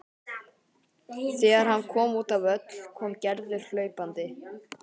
Þegar hann kom út á völl kom Gerður hlaupandi.